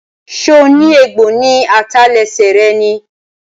So ní egbò ní àtẹlẹsẹ̀ rẹ ni?